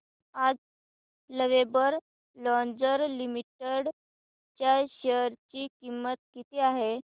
आज lovable lingerie limited च्या share ची किंमत किती आहे